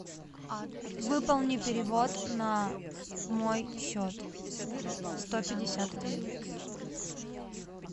выполни перевод на мой счет сто пятьдесят рублей